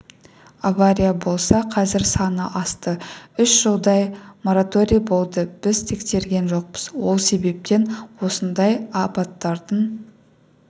авария болса қазір саны асты үш жылдай мораторий болды біз тексерген жоқпыз сол себептен осындай апаттардың